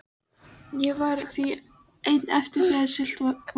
Ég varð því einn eftir þegar siglt var heim.